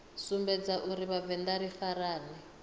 sumbedza uri vhavenḓa ri farane